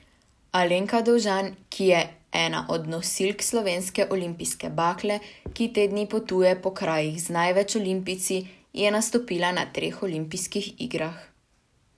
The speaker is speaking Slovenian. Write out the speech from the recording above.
Alenka Dovžan, ki je ena od nosilk slovenske olimpijske bakle, ki te dni potuje po krajih z največ olimpijci, je nastopila na treh olimpijskih igrah.